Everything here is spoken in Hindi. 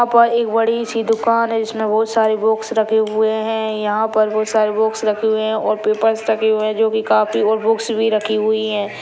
यहां पर एक बड़ी सी दुकान है जिसमे बहुत सारे बॉक्स रखे हुये है यहां पर बहुत सारे बॉक्स रखे हुए है और पेपर्स रखे हुये है जो कि कॉपी और बुक्स भी रखी हुई है।